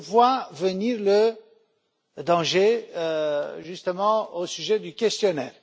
Je vois venir le danger justement au sujet du questionnaire.